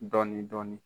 Dɔɔnin dɔɔnin